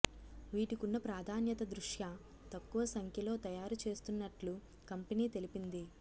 వీటికున్న ప్రాధాన్యత దృష్ట్యా తక్కువ సంఖ్యలో తయారు చేస్తున్నట్లు కంపెనీ తెలిపింది